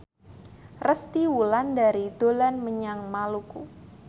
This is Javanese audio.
Resty Wulandari dolan menyang Maluku